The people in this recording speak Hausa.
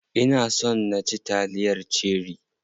Ina son na ci taliyar cherie.